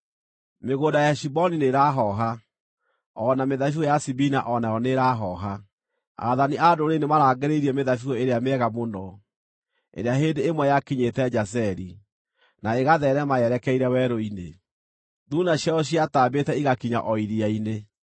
Mĩgũnda ya Heshiboni nĩĩrahooha, o na mĩthabibũ ya Sibima o nayo nĩĩrahooha. Aathani a ndũrĩrĩ nĩmarangĩrĩirie mĩthabibũ ĩrĩa mĩega mũno, ĩrĩa hĩndĩ ĩmwe yakinyĩte Jazeri, na ĩgatheerema yerekeire werũ-inĩ. Thuuna ciayo ciatambĩte igakinya o iria-inĩ.